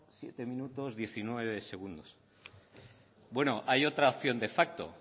siete minutos diecinueve segundos bueno hay otra opción de facto